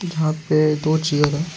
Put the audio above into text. यहां पे दो चेयर है।